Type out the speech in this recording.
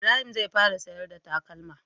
Ibrahim zai fara siyar da takalma